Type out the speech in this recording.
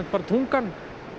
tungan